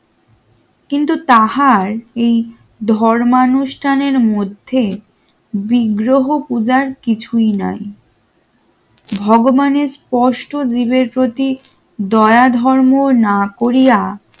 কিন্তু তাহার এই ধর্মানুষ্ঠানের মধ্যে বিগ্রহ পূজার কিছুই নাই। ভগবানের স্পষ্ট জীবের প্রতি দয়া ধর্ম না করিয়া